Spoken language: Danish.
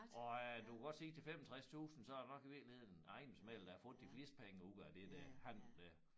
Og øh du kan godt se til 65 tusind så det nok i virkeligheden æ ejendomsmægler der har fået de fleste penge ud af det der handel der